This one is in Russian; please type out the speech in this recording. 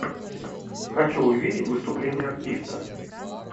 хочу увидеть выступление артиста